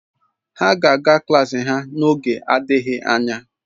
Ha ga-aga klaasị ha n'oge adịghị anya